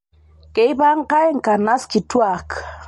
Keipangai nkanas kituaak